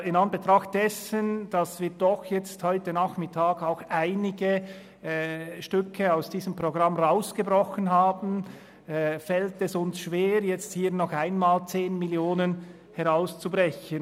In Anbetracht dessen, dass wir heute Nachmittag auch einige Stücke aus diesem Sparprogramm herausgebrochen haben, fällt es uns schwer, jetzt nochmals 10 Mio. Franken herauszubrechen.